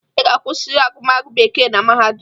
Ị ga-agụrịrị agụmagụ bekee na mahadum!